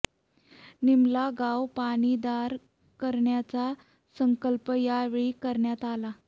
निमला गाव पाणी दार करण्याचा संकल्प यावेळी करण्यात आला